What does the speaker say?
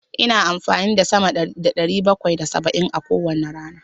Ina amfani da sama da ɗari bakwai da saba'in a kowane rana.